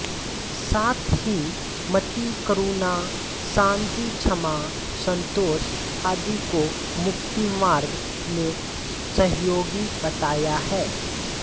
साथ ही मति करुणा शान्ति क्षमा सन्तोष आदि को मुक्तिमार्ग में सहयोगी बताया है